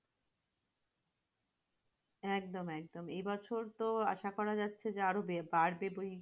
একদম একদম, এবছরতো আশা করা যাচ্ছে আরো বে বাড়বে।